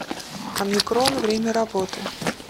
омикрон время работы